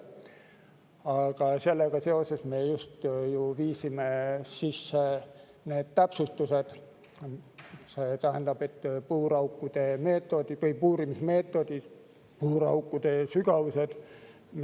Aga sellega seoses me just ju viisimegi sisse need täpsustused: puuraukude puurimise meetodid, puuraukude sügavused.